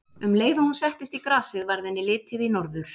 Um leið og hún settist í grasið varð henni litið í norður.